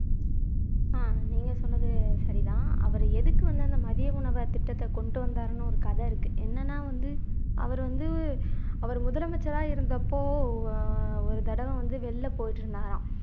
ஆஹ் நீங்க சொன்னது சரிதான் அவர் எதுக்கு வந்து அந்த மதிய உணவை திட்டத்தை கொண்டு வந்தார்னு ஒரு கதை இருக்கு என்னன்னா வந்து அவர் வந்து அவர் முதலமைச்சரா இருந்தப்போ ஒரு தடவை வந்து வெளில போயிட்டு இருந்தாராம்